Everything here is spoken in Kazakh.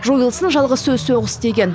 жойылсын жалғыз сөз соғыс деген